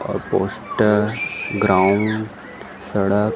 अउ poster ground सड़क --